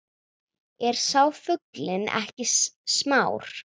Er sá fuglinn ekki smár